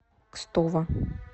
кстово